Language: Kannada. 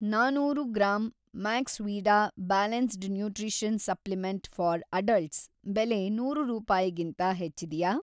ನಾನೂರು gram Maxvida balanced nutrition supplement for adults ಬೆಲೆ ನೂರು ರೂಪಾಯಿಗಿಂತ ಹೆಚ್ಚಿದೆಯಾ?